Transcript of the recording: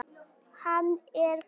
Hann er þar.